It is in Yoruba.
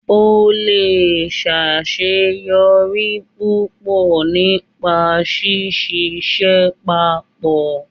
O le ṣaṣeyọri pupọ nipa síṣiṣẹ pápọ